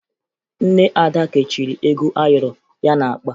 Nne Ada kechiri ego ayọrọ ya n'akpa